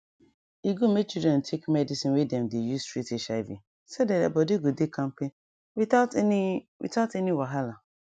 e good make children take medicine wey dem dey use treat hiv so that their body go dey kampe without any without any wahala